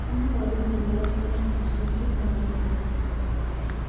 nyalun kelach maskishek chuto akewirta